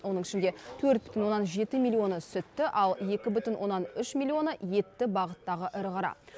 оның ішінде төрт бүтін оннан жеті миллионы сүтті ал екі бүтін оннан үш миллионы етті бағыттағы ірі қара